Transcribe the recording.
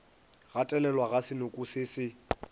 gatelelwa ga senoko se se